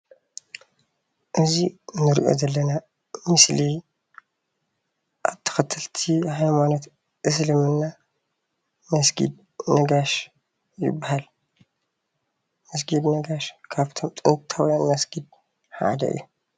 እዙይ እንሪኦ ዘለና ምስሊ ተኸተልቲ ሃይማኖት እስልምና መስጊድ ነጋሽ ይበሃል ። መስጊድ ነጋሽ ካፍቶም ጥንታውያን መስጊድ ሓደ እዩ።